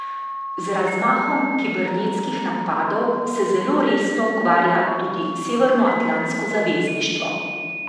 Z razmahom kibernetskih napadov se zelo resno ukvarja tudi severnoatlantsko zavezništvo.